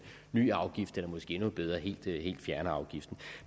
ny afgift eller måske endnu bedre helt fjerner afgiften